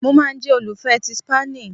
Mo ma n jẹ olufẹ ti Spani